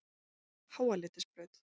Háaleitisbraut